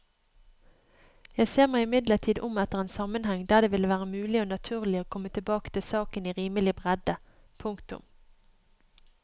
Jeg ser meg imidlertid om etter en sammenheng der det ville være mulig og naturlig å komme tilbake til saken i rimelig bredde. punktum